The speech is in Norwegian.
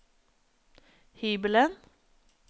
hybelen